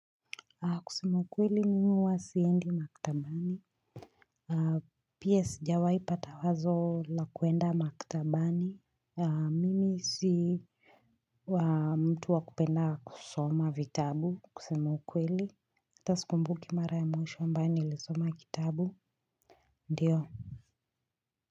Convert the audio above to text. Kusema ukweli mimi huwa siendi maktabani. Pia sijawai pata wazo la kuenda maktabani. Mimi si mtu wa kupenda kusoma vitabu kusema ukweli. Ata sikumbuki mara ya mwisho ambayo nilisoma kitabu ndiyo.